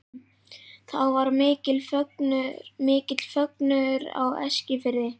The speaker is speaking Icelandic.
Þá varð mikill fögnuður á Eskifirði.